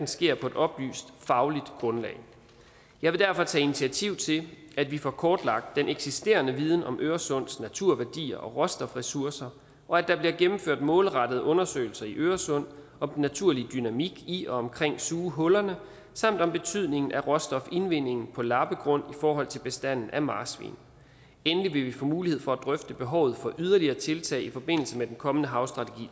sker på et oplyst fagligt grundlag jeg vil derfor tage initiativ til at vi får kortlagt den eksisterende viden om øresunds naturværdier og råstofressourcer og at der bliver gennemført målrettede undersøgelser i øresund om den naturlige dynamik i og omkring sugehullerne samt om betydningen af råstofindvindingen på lappegrund i forhold til bestanden af marsvin endelig vil vi få mulighed for at drøfte behovet for yderligere tiltag i forbindelse med den kommende havstrategi